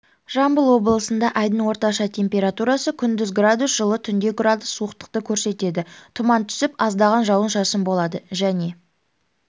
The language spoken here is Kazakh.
жамбыл облысында айдың орташа температурасы күндіз градус жылы түнде градус суықтықты көрсетеді тұман түсіп аздаған жауын-шашын болады және